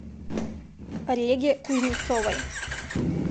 реге кузнецовой